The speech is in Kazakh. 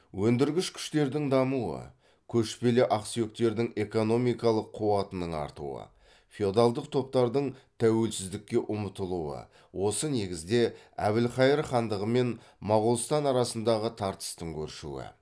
өндіргіш күштердің дамуы көшпелі ақсүйектердің экономикалық қуатының артуы феодалдық топтардың тәуелсіздікке ұмтылуы осы негізде әбілхайыр хандығы мен моғолстан арасындағы тартыстың өршуі